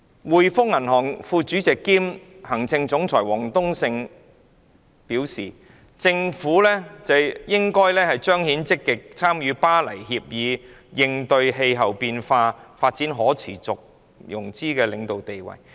滙豐銀行副主席兼行政總裁王冬勝表示，政府計劃發行綠色債券，彰顯本港積極參與《巴黎協議》以應對氣候變化，發展可持續融資的領導地位。